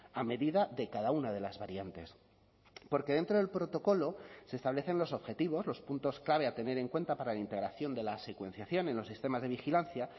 a medida de cada una de las variantes porque dentro del protocolo se establecen los objetivos los puntos clave a tener en cuenta para la integración de la secuenciación en los sistemas de vigilancia